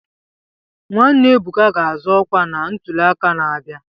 Nwanne Ebuka ga-azọ ọkwa na ntuli aka na-abịa.